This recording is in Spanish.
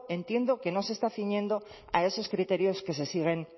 entiendo que no se está ciñendo a esos criterios que se siguen